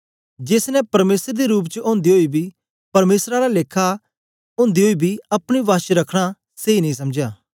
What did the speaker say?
जेस ने परमेसर दे रूप च ओदे ओई बी परमेसर आला लेखा ओदे ओई बी अपने वश च रखना सेई नेई समझया